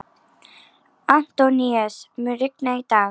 Antóníus, mun rigna í dag?